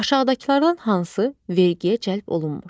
Aşağıdakılardan hansı vergiyə cəlb olunmur?